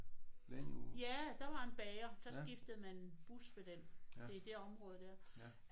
Ja der var en bager. Der skiftede man bus ved den. Det er det område der